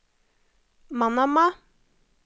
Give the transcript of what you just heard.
Manama